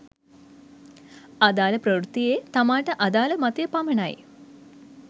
අදාළ ප්‍රවෘත්තියේ තමාට අදාළ මතය පමණයි